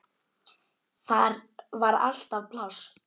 Þar var alltaf pláss.